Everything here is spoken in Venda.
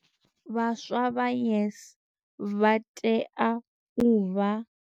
Vhaswa vha YES vha tea u vha.